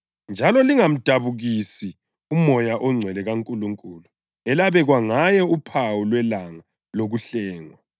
Njalo lingamdabukisi uMoya oNgcwele kaNkulunkulu elabekwa ngaye uphawu lwelanga lokuhlengwa.